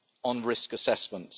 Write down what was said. on risk assessment.